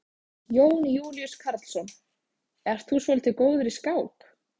Jón Júlíus Karlsson: Ert þú svolítið góður í skák?